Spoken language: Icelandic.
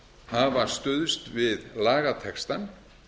hafa stuðst við lagatextann